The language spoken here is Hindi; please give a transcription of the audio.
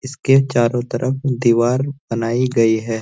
इसके चारों तरफ दीवार बनाई गई है।